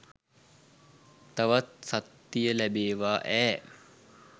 තවත් සත්තිය ලැබේවා ඈ.